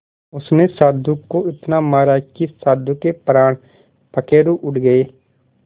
उसने साधु को इतना मारा कि साधु के प्राण पखेरु उड़ गए